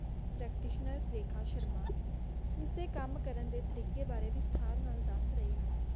practitioner Rekha Sharma, ਇਸ ਤੇ ਕਮ ਕਰਨ ਦੇ ਤਰੀਕੇ ਬਾਰੇ ਵਿਸਥਾਰ ਨਾਲ ਦਸ ਰਹੇ ਹਨ